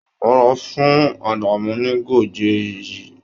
Wàá lọ fún Àdàmú́ ní Goje yìí!